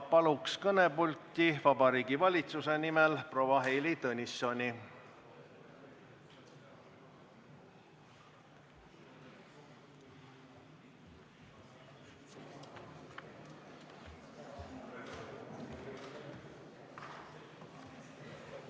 Palun kõnepulti Vabariigi Valitsuse nimel proua Heili Tõnissoni!